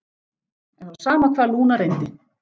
En það var sama hvað Lúna reyndi.